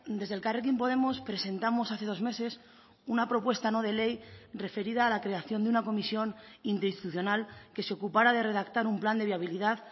desde elkarrekin podemos presentamos hace dos meses una propuesta no de ley referida a la creación de una comisión interinstitucional que se ocupara de redactar un plan de viabilidad